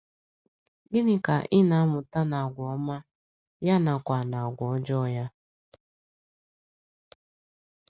Gịnị Ka ị na - amụta n’agwà ọma, ya nakwa n’agwà ọjọọ ya?